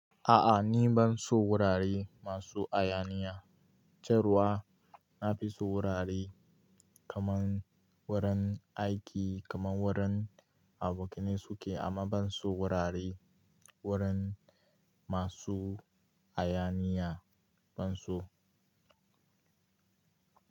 A'a ni ban so wurare masu hayaniya. Jar wa na fi so wurare kaman wurin aiki kaman wurin abokanai suke amma ban so wurare wurin masu hayaniya ban so.